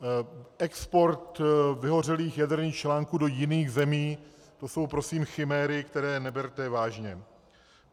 Export vyhořelých jaderných článků do jiných zemí, to jsou prosím chiméry, které neberte vážně.